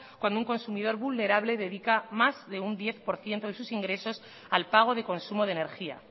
cuando un consumidor vulnerable dedica más de un diez por ciento de sus ingresos al pago de consumo de energía